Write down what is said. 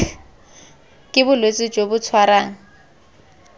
ke bolwetse jo bo tshwarang